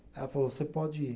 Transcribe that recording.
Ela falou, você pode ir.